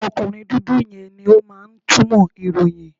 Ọkùnrin dúdú yẹn ni ó máa ń túmọ̀ ìròyìn.